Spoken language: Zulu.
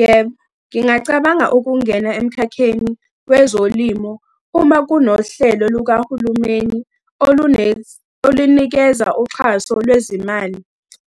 Yebo, ngingacabanga ukungena emkhakheni wezolimo uma kunohlelo lukahulumeni olunikeza uxhaso lwezimali